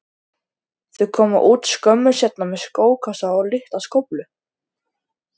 Þau koma út skömmu seinna með skókassa og litla skóflu.